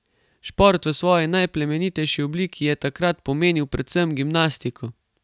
Šport v svoji najplemenitejši obliki je takrat pomenil predvsem gimnastiko.